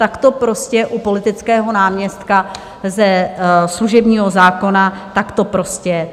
Tak to prostě u politického náměstka ze služebního zákona, tak to prostě je.